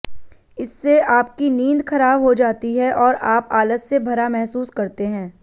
इससे आपकी नींद खराब हो जाती है और आप आलस से भरा महसूस करते हैं